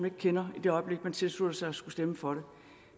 ikke kender i det øjeblik man tilslutter sig at skulle stemme for